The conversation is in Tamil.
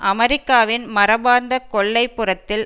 அமெரிக்காவின் மரபார்ந்த கொல்லைப் புறத்தில்